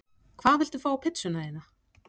Hvað viltu fá á pizzuna þína?